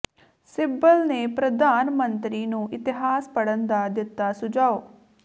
ਸਿੱਬਲ ਨੇ ਪ੍ਰਧਾਨ ਮੰਤਰੀ ਨੂੰ ਇਤਿਹਾਸ ਪੜ੍ਹਨ ਦਾ ਦਿੱਤਾ ਸੁਝਾਅ